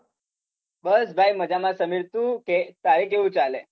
બસ ભાઈ મજામાં. તમે શુ કે, તારે કેવુ ચાલે